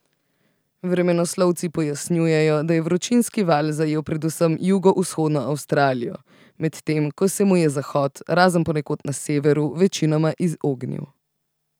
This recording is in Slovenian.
Vremenoslovci pojasnjujejo, da je vročinski val zajel predvsem jugovzhodno Avstralijo, medtem ko se mu je zahod, razen ponekod na severu, večinoma izognil.